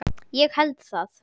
Ég held það?